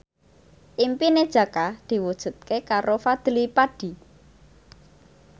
impine Jaka diwujudke karo Fadly Padi